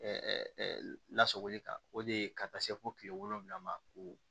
lasagoli kan o de ye ka taa se fo kile wolonwula ma ko